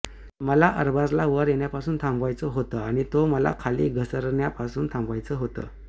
मला अरबाजला वर येण्यापासून थांबवायचं होतं आणि तो मला खाली घसरण्यापासून थांबवायचं होतं